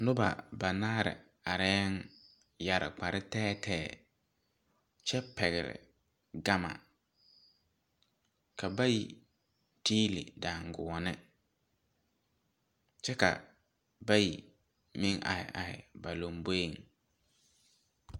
Nuba banaare arẽ yere kpare teɛ teɛ kye pɛgli gama ka bayi tiili danguoni kye ka bayi meng arẽ arẽ ba lɔmboɛ.